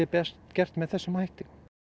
best gert með þessum hætti